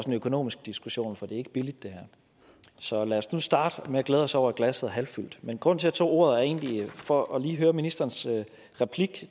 en økonomisk diskussion for det ikke billigt så lad os nu starte med at glæde os over at glasset er halvfyldt men grunden til at jeg tog ordet var egentlig for lige at høre ministerens replik